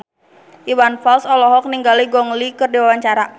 Iwan Fals olohok ningali Gong Li keur diwawancara